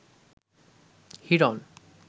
Hiran